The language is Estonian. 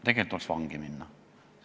Tegelikult tuleks vangi minna.